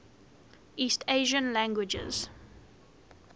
east asian languages